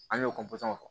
An y'o